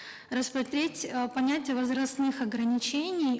рассмотреть э понятие возрастных ограничений